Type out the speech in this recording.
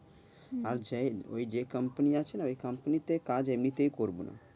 আচ্ছা, ওই যে company আছে না ওই company তে কাজ এমনিতেই করব না।